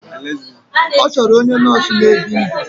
Ọ chọrọ onye nọọsụ na-ebi ndụ.